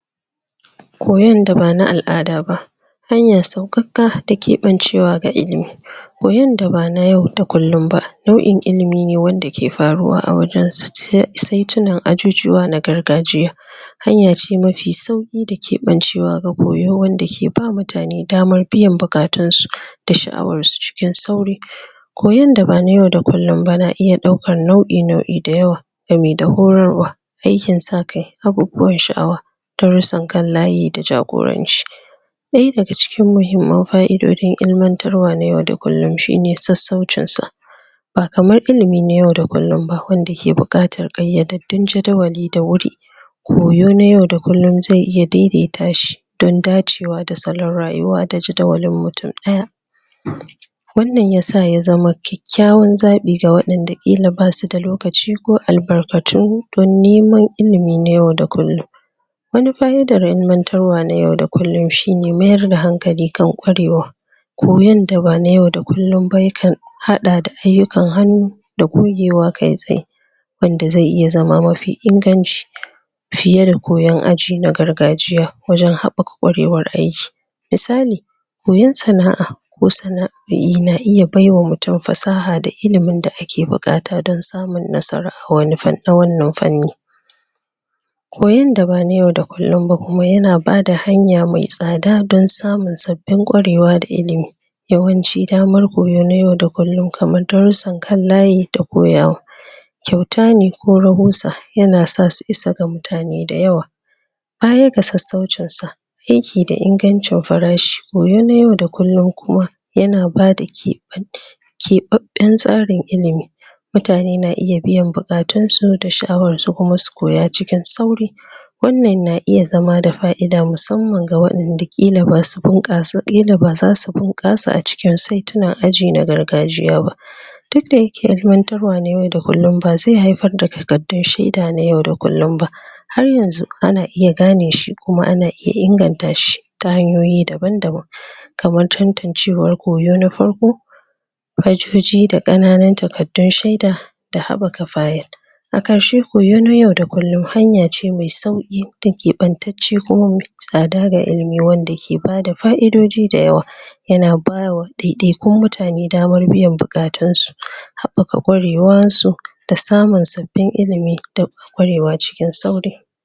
Koyon da ba na al'ada ba hanya sauƙaƙƙa ta keɓancewa ga ilimi, koyon da ba na yau da kullum ba, yau in ilimi ne wanda ke faruwa a wajen saitunan ajujuwa na gargajiya, hanya ce mafi sauƙi ta keɓancewa da goyo wanda ke ba mutane damar biyan buƙatunsu, da sha'awar su cikin sauri, koyon da ba na yau da kullum ba na iya ɗaukan nau'i nau'i da yawa game da horarwa aikin sa kai, abubuwan sha'awa, darusan kan layi da jaroganci. Ɗaya daga cikin muhimman fa'idodin ilmantarwa na yau da kullum shi ne sassaucin sa, ba kamar ilimi na yau da kullum ba, wanda ke buƙatar ƙayyadaddun jadawali da wuri, koyo na yau da kullum zai iya daidai ta shi don dacewa da salon rayuwa da jadawalin mutum ɗaya, wannan ya sa ya zama kyakkyawan zaɓi ga waɗanda ƙila ba su da lokaci ko albarkatu don neman ilimi na yau da kullum, wani fa'idar ilmantarwa na yau da kullum shi ne mayar da hankali kan ƙwarewa, koyon da ba na yau da kullum ba, ya kan haɗa ayyukan hannu, da gogewa kai tsaye, wanda zai iya zama mafi inganci, fiye da koyon aji na gargajiya, wajen haɓɓaka ƙwarewar aiki. Misali, koyon sana'a, ko sana'a nau'i na iya bai wa mutum fasaha da ilimin da ake buƙata, don samun nasara na wannan fanni. Koyon da ba na yau da kullum ba kuma, yana bada hanya mai tsada don samun sabbin ƙwarewa da ilimi. Yawanci damar koyo na yau da kullum kamar darussan kan layi da koyawa, kyauta ne ko rahusa yana sa su isa ga mutane da yawa, baya ga sassaucin sa aiki da ingancin farashi, koyo na yau da kullum kuma yana bada keɓaɓɓen keɓaɓɓen tsari ilimi, mutane na iya biyan buƙatunsu da sha'awar su kuma su koya cikin sauri, wannan na iya zama da fa'ida, musamman ga waɗanda ƙila ba su bunƙasa, ƙila ba za su bunƙasa a cikin saitunan aji na gargajiya ba, duk da yake ilmantarwa na yau da kullum, ba zai haifar da takardun shaida na yau da kullum ba, har yanzu ana iya gane shi, kuma ana iya inganta shi ta hanyoyi daban daban kamar tantancewar koyo na farko, fajjoji da ƙananan takardun shaida da haɓaka fayal. A ƙarshe koyo na yau da kulum, hanya ce mai sauƙi ta keɓantacce kuma tsada ga ilimi wanda ke bada fa'idoji da yawa. Yana ba wa ɗaiɗaikun mutane damar biyan buƙatun su, haɓɓaka ƙwarewarsu, da samun sabbin ilimi da ƙwarewa cikin sauri